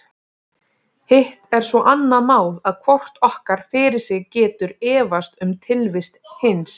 Hitt er svo annað mál að hvort okkar fyrir sig getur efast um tilvist hins.